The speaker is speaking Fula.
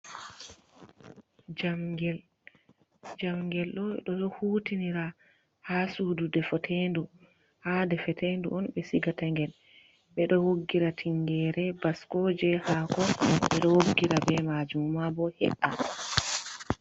Jamgel. Jamgel ɗo ɓeɗo hutinira ha sudu defetendu. Ha de fetendu on be siga ta ngel. Ɓeɗo woggira tingere, baskoje, hako. Ɓeɗo woggira be majum mabo he’a.